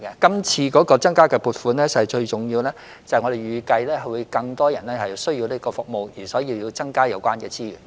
這次增加撥款最重要的原因是，我們預計會有更多人需要這項服務，所以有需要增加有關資源。